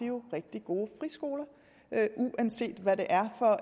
jo rigtig gode friskoler uanset hvad det er for